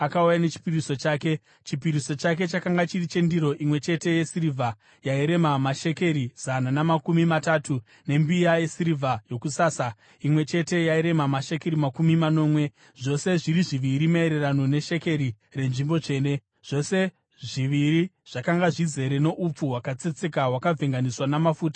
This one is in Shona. Chipiriso chake chakanga chiri chendiro imwe chete yesirivha yairema mashekeri zana namakumi matatu, nembiya yesirivha yokusasa imwe chete yairema mashekeri makumi manomwe, zvose zviri zviviri maererano neshekeri renzvimbo tsvene, zvose zviviri zvakanga zvizere noupfu hwakatsetseka hwakavhenganiswa namafuta sechipiriso chezviyo;